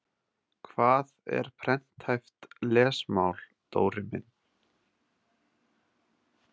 Hvað er prenthæft lesmál, Dóri minn?